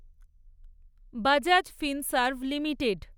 Bajaj Finserv limited